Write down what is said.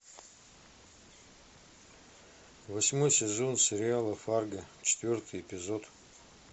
восьмой сезон сериала фарго четвертый эпизод